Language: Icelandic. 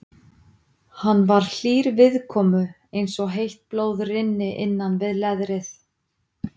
Hann var hlýr viðkomu eins og heitt blóð rynni innan við leðrið.